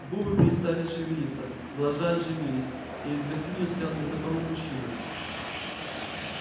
губы перестали шевелиться глаза оживились перед графинею стоял незнакомый мужчина